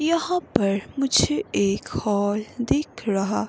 पर मुझे एक हॉल दिख रहा।